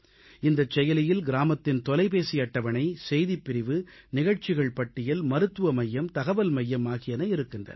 இந்தச் செயலியில் கிராமத்தின் தொலைபேசி அட்டவணை செய்திப் பிரிவு நிகழ்ச்சிகள் பட்டியல் மருத்துவ மையம் தகவல் மையம் ஆகியன இருக்கின்றன